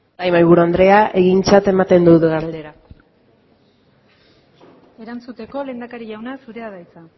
bai mahaiburu andrea egintzat ematen dut galdera erantzuteko lehendakari jauna zurea da hitza